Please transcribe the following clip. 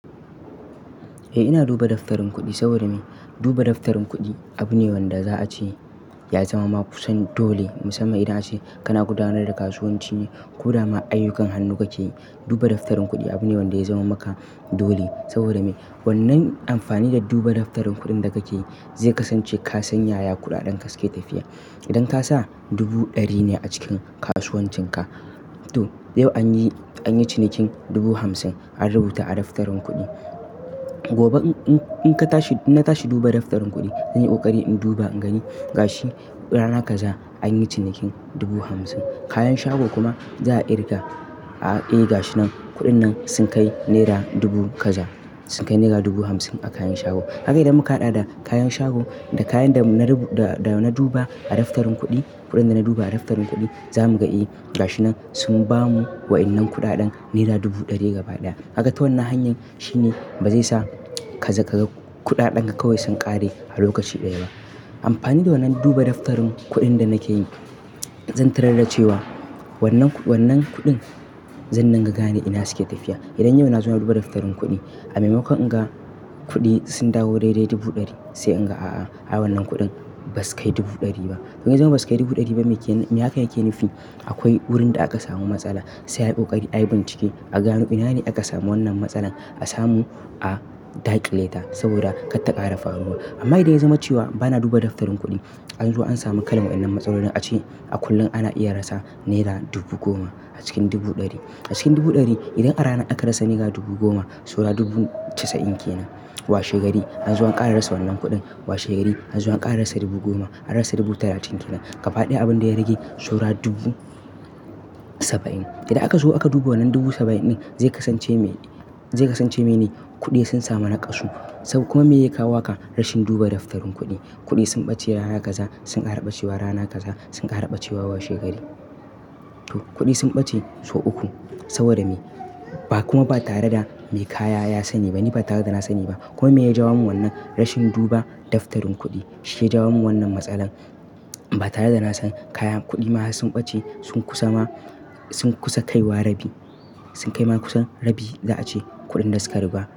Eh ina duba daftarin kuɗi saboda me? Duba daftarin kuɗi abune wanda za a ce ya zama ma kusan dole, musamman idan a ce kana gudanar da kasuwanci ne ko dama ayyukan hannu kake yi. Duba daftarin kuɗi abune wanda ya zama maka dole saboda me? Wannan amfani da duba daftarin kuɗin da kake yi zai kasance ka san yaya kuɗaɗen suke tafiya. Idan ka sa dubu ɗari ne a cikin kasuwancinka, to yau anyi, anyi cinikin dubu hamsin an rubuta a daftarin kuɗi. Gobe in ka tashi, na tashi duba daftarin kuɗi, zan yi ƙoƙari in duba in gani ga shi rana kaza anyi cinikin dubu hamsin. Kayan shago kuma za a ƙirga, a i ga shi nan kuɗin nan sun kai naira dubu kaza, sun kai naira dubu hamsin a kayan shago. Kaga idan muka haɗa da kayan shago da kayan da na rubu-- da, da na duba a daftarin kuɗi, kuɗin da na duba a daftarin kuɗi za mu ga i ga shi nan sun ba mu waɗannan kuɗaɗen naira dubu ɗari gaba ɗaya. Kaga ta wannan hanyar shine ba zai sa kaza ka ga kuɗaɗan ka kawai sun ƙare a lokaci ɗaya ba. Amfani da wannan duba daftarin kuɗin da nake yi zan tarar dace wa wannan kuɗin, zan din ga gane ina suke tafiya. Idan yau na zo na duba daftarin kuɗi a maimakon in ga kuɗi sun dawo daidai dubu ɗari sai in ga a a, ai wannan kuɗin ba su kai dubu ɗari ba. Idan ya zama ba su kai dubu ɗari ba mi---. Mi hakan yake nufi? Akwai wurin da aka samu matsala sai a yi ƙoƙari a yi bincike a gano ina ne aka samu wannan matsalan a samu a daƙile ta saboda kar ta ƙara faruwa. Amma idan ya zama cewa ba na duba daftarin kuɗi, an zo an sami kalar waɗannan matsalolin a ce a kullum ana iya rasa naira dubu goma a cikin dubu ɗari. A cikin dubu ɗari idan a rana aka rasa naira dubu goma, saura dubu casa'in kenan. Wa shegari an zo an ƙara rasa wannan kuɗin. Wa shekari an zo an ƙara rasa dubu goma, an rasa dubu talatin kenan. Ka faɗi abin da ya rage, saura dubu saba'in. Idan aka zo aka duba wannan dubu saba'in ɗin, zai kasance me, zai kasance me ne kuɗi sun samu naƙasu saboda kuma me yake kawo maka rashin duba daftarin kuɗi. Kuɗi sun ɓace rana kaza, sun ƙara ɓacewa rana kaza, sun ƙara ɓacewa wa shekari. To kuɗi sun ɓace sau uku saboda me? Ba kuma ba tare da mai kaya ya sani ba, ni ba tare da na sani ba. Kuma me ya jawo min wannan rashin duba daftarin kuɗi, shi ya jawo min wannan matsala ba tare da na san kaya. Kuɗi ma sun ɓace sun kusa ma, sun kusa kaiwa rabi, sun kai ma kusan rabi za a ce kuɗin da suka ruba.